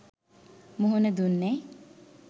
මුහුණ දුන්නේ?